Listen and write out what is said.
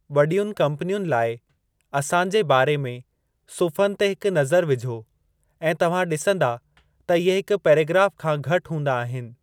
वॾीयुनि कम्पनियुनि लाइ 'असां जे बारे में' सुफ़्हनि ते हिक नज़र विझो ऐं तव्हां ॾिसंदा त इहे हिक पैराग्राफ़ खां घटि हूंदा आहिनि।